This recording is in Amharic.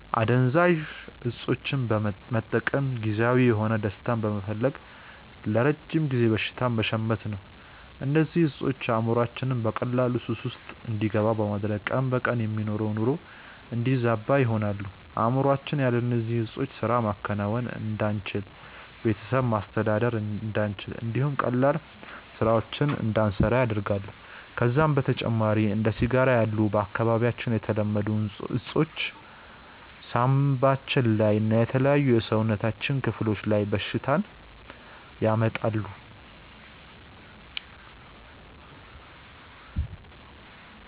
አደንዛዥ እፆችን መጠቀም ጊዜያዊ የሆነ ደስታን በመፈለግ ለረጅም ጊዜ በሽታን መሸመት ነው። እነዚህ እፆች አእምሮአችንን በቀላሉ ሱስ ውስጥ እንዲገባ በማድረግ ቀን በቀን የምንኖረውን ኑሮ የሚያዛቡ ይሆናሉ። አእምሮአችን ያለ እነዚህ ዕጾች ስራ ማከናወን እንዳንችል፣ ቤተሰብ ማስተዳደር እንዳንችል እንዲሁም ቀላል ስራዎችን እንዳንሰራ ያደርገናል። ከዛም በተጨማሪ እንደ ሲጋራ ያሉ በአካባቢያችን የተለመዱ እፆች ሳንባችን ላይ እና የተለያዩ የሰውነታችን ክፍሎች ላይ በሽታን ያመጣሉ።